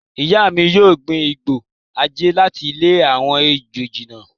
Ìyá mi yóò gbin igbó àjẹ́ láti lé àwọn ejò jìnnà.